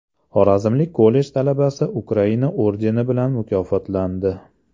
Xorazmlik kollej talabasi Ukraina ordeni bilan mukofotlandi.